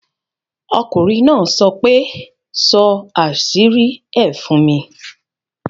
Okùnrin náà sọ pé, ' sọ àṣírí ẹ fún mi'